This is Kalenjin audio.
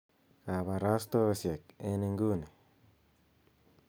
kabarastaosiek en inguni